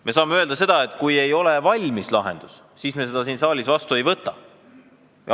Me saame täna öelda, et kui ei ole valmis lahendus, siis me seda siin saalis vastu ei võta.